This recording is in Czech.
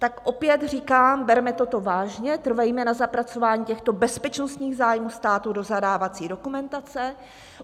Tak opět říkám: Berme toto vážně, trvejme na zapracování těchto bezpečnostních zájmů státu do zadávací dokumentace.